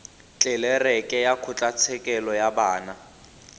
tlelereke ya kgotlatshekelo ya bana